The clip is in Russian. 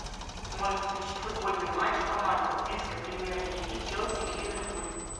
можешь включить футбольный матч команд английской премьер лиги челси и ливерпуль